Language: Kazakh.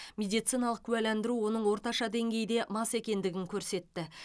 медициналық куәландыру оның орташа деңгейде мас екендігін көрсетті